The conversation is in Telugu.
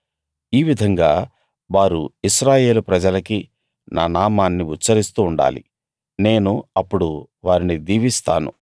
ఈ విధంగా వారు ఇశ్రాయేలు ప్రజలకి నా నామాన్ని ఉచ్చరిస్తూ ఉండాలి నేను అప్పుడు వారిని దీవిస్తాను